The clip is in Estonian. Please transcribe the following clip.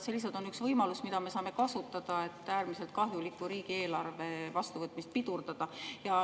See lihtsalt on üks võimalus, mida me saame kasutada, et äärmiselt kahjuliku riigieelarve vastuvõtmist pidurdada.